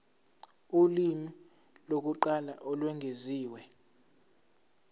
ulimi lokuqala olwengeziwe